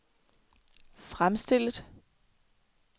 fremstillet